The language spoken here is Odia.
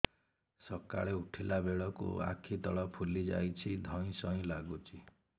ସକାଳେ ଉଠିଲା ବେଳକୁ ଆଖି ତଳ ଫୁଲି ଯାଉଛି ଧଇଁ ସଇଁ ଲାଗୁଚି